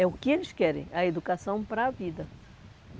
É o que eles querem, a educação para a vida.